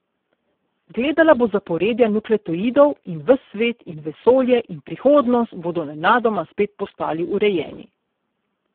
Gledala bo zaporedja nukleotidov in ves svet in vesolje in prihodnost bodo nenadoma spet postali urejeni.